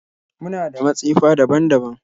Muna da matsefa daban-daban